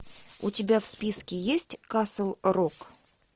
у тебя в списке есть касл рок